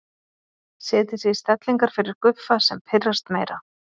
Setja sig í stellingar fyrir Guffa sem pirrast meira.